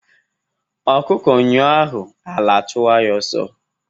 Ọkụkọ nyụọ ahụ, ala achụwa ya oso.